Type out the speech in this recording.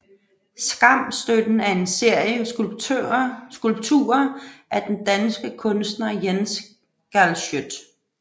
Skamstøtten er en serie skulpturer af den danske kunstner Jens Galschiøt